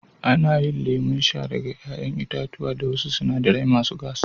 Ana yin lemon sha daga 'ya'yan itatuwa da wasu sinadarai masu gas.